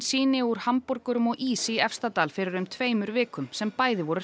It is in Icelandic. sýni úr hamborgurum og ís í Efstadal fyrir um tveimur vikum sem bæði voru